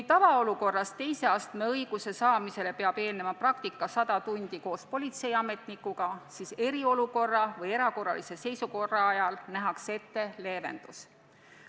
Tavaolukorras peab teise astme õiguse saamisele eelnema sajatunnine praktika koos politseiametnikuga, seevastu eriolukorra või erakorralise seisukorra ajal nähakse ette leevendus.